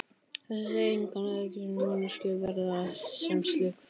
Þessir eiginleikar gera manneskjuna verðuga sem slíka.